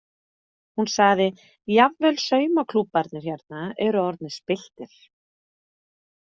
Hún sagði: Jafnvel saumaklúbbarnir hérna eru orðnir spilltir.